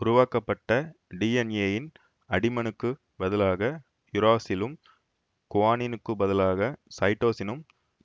உருவாக்கப்பட்ட டிஎன்ஏயின் அடினினுக்குப் பதிலாக யுராசிலும் குவானினுக்குப் பதிலாக சைட்டோசினும்